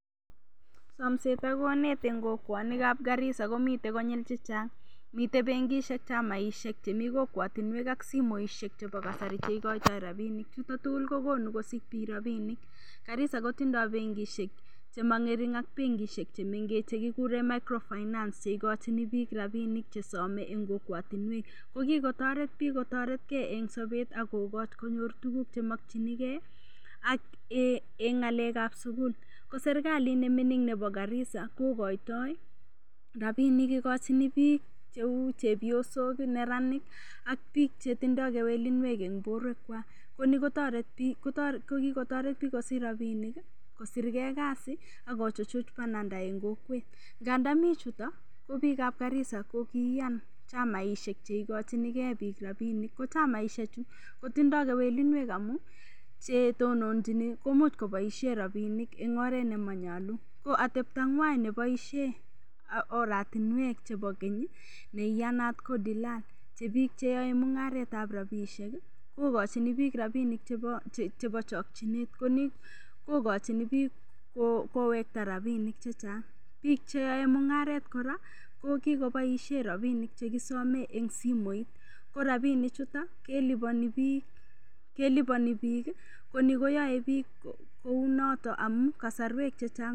Somset ak konet eng' kokwonikab Garisa komitei konyul chechang' mitei bengishek chamaishek chemi kokwotinwek ak simoshek chebo kasari cheikoitoi rapinik chuto tugul kokonu kosich biik rapinik Garisa kotindoi bengishek chemang'ering ak bengishek chemengech chekikure microfinance cheikochini biik ropinik chesomei eng' kokwotinwek ko kikotoret biik kotoretkei eng' sobet akokoch konyor tukuk chemokchingei ak eng' ng'alekab sukul ko serikalit neming'in nebo Garisa kokoitoi rapinik ikochin biik cheu chepyosok neranik ak biik chetindoi kewelinwek eng' borwekwak ko ni ko kikotoreti biik kosich rapinik kosirkei kasi akochuchuch bananda eng' kokwet nga ndami chuto ko biikab garisa ko kiiyan chamaishek cheikochinigei biik rapinik ko chamaishechu kotindoi kewelinwek amu chetononjini komuch koboishe rapinik eng' oret nemanyalu ko ateptong'wai neboishen oratinwek chebo keny ne iyanat ko dilan che biik cheyoei mung'aret ab rapishek kokachini biik rapinik chebo chokchinet koni kokochini biik kowekta rapinik chechang' biik cheoei mung'aret kora kokikoboishe rapinik chekisome eng' simoit ko rapinik chuto kelipani biik koni koyoei biik kounoto amun kasarwek chechang'